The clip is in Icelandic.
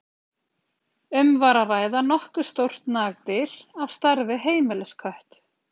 Um var að ræða nokkuð stórt nagdýr, á stærð við heimiliskött.